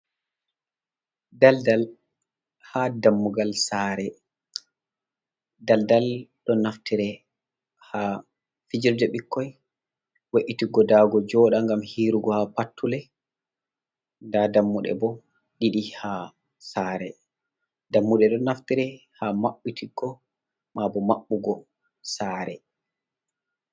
Daldal ha dammugal sare, daldal ɗo naftire ha fijerde ɓikkoi, we’itiggo dago joda gam hiirugo ha patule, nda dammuɗe bo ɗiɗi ha sare dammude ɗo naftire ha maɓɓitigo, mabo maɓɓugo sare.